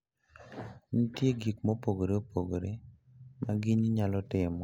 Nitie gik mopogore opogore ma ginyi nyalo timo mondo giyud mor.